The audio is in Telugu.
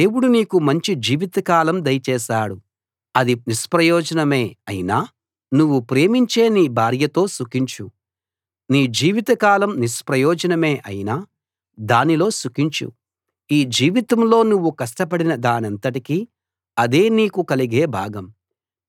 దేవుడు నీకు మంచి జీవితకాలం దయచేశాడు అది నిష్ప్రయోజనమే అయినా నువ్వు ప్రేమించే నీ భార్యతో సుఖించు నీ జీవితకాలం నిష్ప్రయోజనమే అయినా దానిలో సుఖించు ఈ జీవితంలో నువ్వు కష్టపడిన దానంతటికీ అదే నీకు కలిగే భాగం